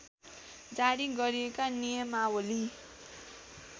जारी गरिएका नियमावली